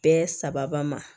Bɛɛ saba ma